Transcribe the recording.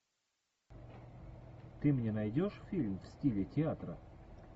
ты мне найдешь фильм в стиле театра